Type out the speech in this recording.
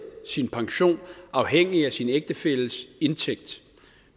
sin pension afhængig af sin ægtefælles indtægt